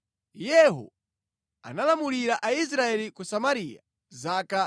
Yehu analamulira Aisraeli ku Samariya zaka 28.